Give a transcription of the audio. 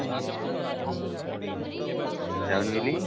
ଯାଉନୁ କାଲି